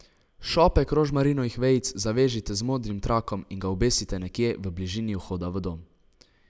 Šopek rožmarinovih vejic zavežite z modrim trakom in ga obesite nekje v bližini vhoda v dom.